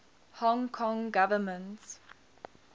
hong kong government